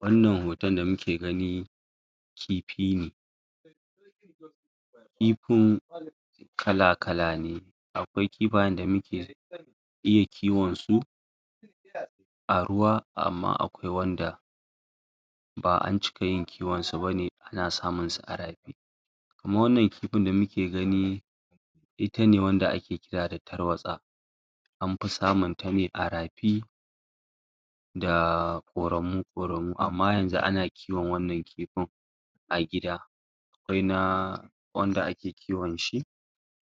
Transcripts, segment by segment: Wannan hoton da muke gani kifi ne kifin kala-kala ne akwai kifayen da muke iya kiwon su a ruwa amma akwai wanda ba'a cika yin kiwon su bane ana samun su a rafi kuma wannan kifin da muke gani ita ne wanda ake kira da tarwatsa an fi samun ta ne a rafi da ƙoramu ƙoramu, amma yanzu ana kiwon wannan kifin a gida akwai na wanda ake kiwon shi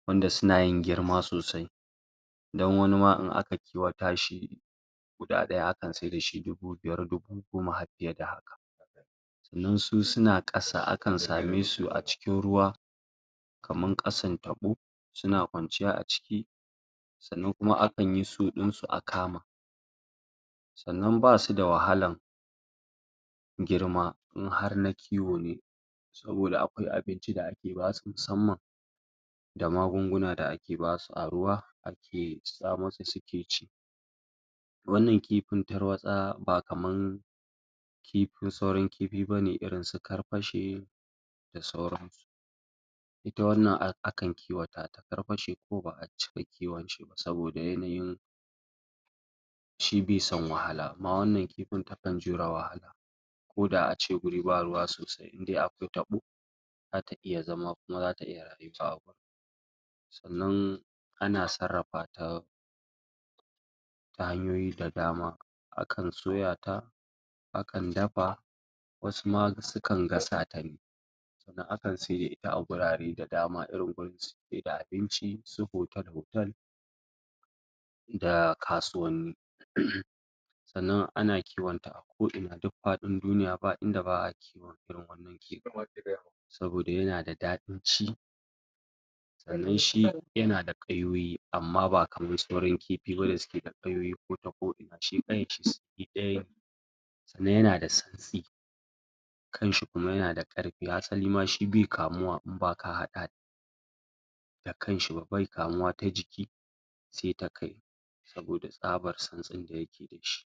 wanda suna yin girma sosai dan wani ma in aka kiwata shi guda ɗaya akan saida shi dubu biyar, dubu goma har fiye da haka sannan su suna ƙasa, akan same su cikin ruwa kaman ƙasan taɓo, suna kwanciya a ciki sannan kuma akan yi su ɗin su a kama sannan basu da wahalan girma in har na kiwo ne saboda akwai abinci da ake basu musamman da magunguna da ake basu a ruwa ake tsamo su suke ci wannan kifin tarwatsa ba kaman kifin, sauran kifi bane irin su karfashe da sauran su ita wannan akan kiwata ta karfashe kuma ba'a cika kiwon shi ba saboda yanayin shi bai son wahala amma wannan kifin takan jure wahala koda a ce guri ba ruwa sosai in dai akwai taɓo zata iya zama kuma zata iya rayuwa a gun sannan ana sarrafa ta ta hanyoyi da dama akan soya ta akan dafa wasu ma sukan gasa ta ne dan akan saida ita a gurare da dama irin gurin saida abinci, su hotel-hotel da kasuwanni sannan ana kiwon ta a ko'ina duk faɗin duniya ba inda ba'a kiwon ta saboda yana da daɗin ci sannan shi yana da ƙayoyi, amma ba kaman sauran kifi ba da suke da ƙayoyi kota ko'ina, shi ƙayan shi ɗaya ne sannan yana da santsi kan shi kuma yana da ƙarfi hasalima shi bai kamuwa in ba ka haɗa da da kan shi ba, bai kamuwa ta jiki se ta kai saboda tsabar santsin da yake da shi.